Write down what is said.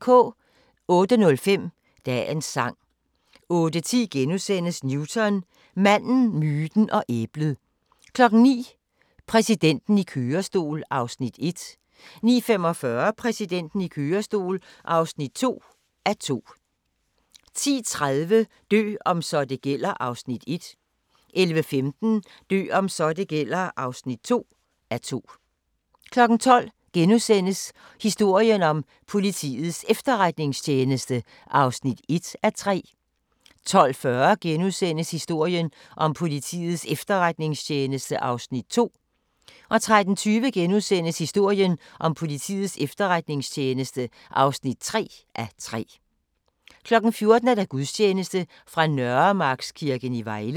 08:05: Dagens sang 08:10: Newton – manden, myten og æblet * 09:00: Præsidenten i kørestol (1:2) 09:45: Præsidenten i kørestol (2:2) 10:30: Dø om så det gælder (1:2) 11:15: Dø om så det gælder (2:2) 12:00: Historien om Politiets Efterretningstjeneste (1:3)* 12:40: Historien om Politiets Efterretningstjeneste (2:3)* 13:20: Historien om Politiets Efterretningstjeneste (3:3)* 14:00: Gudstjeneste fra Nørremarkskirken i Vejle